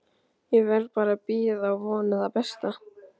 Ég verð bara að bíða og vona það besta.